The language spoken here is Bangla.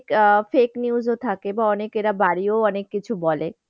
আহ fake news ও থাকে বা অনেকে বাড়িয়েও অনেক কিছু বলে।